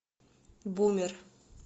бумер